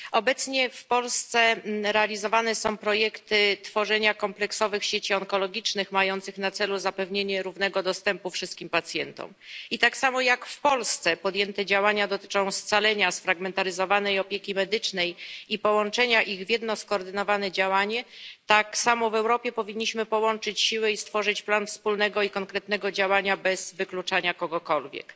Obecnie w Polsce realizowane są projekty tworzenia kompleksowych sieci onkologicznych mających na celu zapewnienie równego dostępu wszystkim pacjentom. I tak jak w Polsce podjęte działania dotyczą scalenia sfragmentaryzowanej opieki medycznej i połączenia ich w jedno skoordynowane działanie, tak samo w Europie powinniśmy połączyć siły i stworzyć plan wspólnego i konkretnego działania bez wykluczania kogokolwiek.